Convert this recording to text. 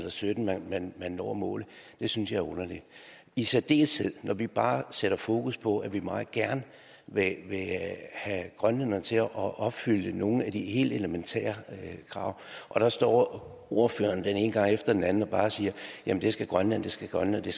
og sytten man man når målet synes jeg er underligt i særdeleshed når vi bare sætter fokus på at vi meget gerne vil have grønlænderne til at opfylde nogle af de helt elementære krav der står ordføreren den ene gang efter den anden og bare siger det skal grønland skal grønland det